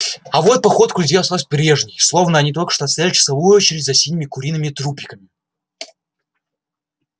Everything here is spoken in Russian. а вот походка у людей осталась прежней словно они только что отстояли часовую очередь за синими куриными трупиками